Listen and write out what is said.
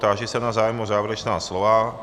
Táži se na zájem o závěrečná slova.